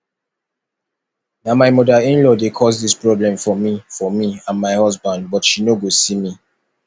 na my mother inlaw dey cause dis problem for me for me and my husband but she no go see me